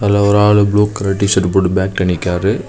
அத ஒரு ஆளு ப்ளூ கலர் டி ஷர்ட் போட்டு பேக்ல நிக்கிறாரு.